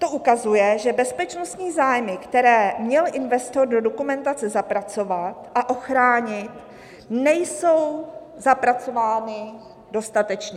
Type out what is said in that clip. To ukazuje, že bezpečnostní zájmy, které měl investor do dokumentace zapracovat a ochránit, nejsou zapracovány dostatečně.